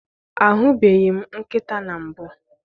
Ahụbeghị m nkịta na mbụ.